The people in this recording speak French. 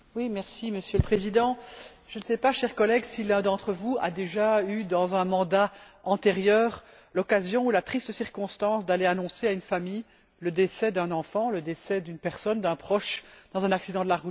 Monsieur le Président, je ne sais pas, chers collègues, si l'un d'entre vous a déjà eu, dans le cadre d'un mandat antérieur, l'occasion ou la triste circonstance d'aller annoncer à une famille le décès d'un enfant, le décès d'une personne, d'un proche, dans un accident de la route.